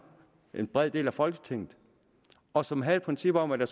en bred del af folketinget og som havde et princip om at der